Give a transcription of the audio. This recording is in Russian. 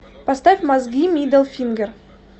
поставь мозги мидл фингер